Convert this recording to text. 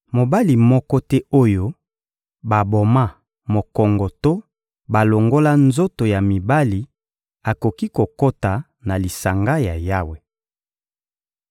Mobali moko te oyo baboma mokongo to balongola nzoto ya mibali akoki kokota na lisanga ya Yawe.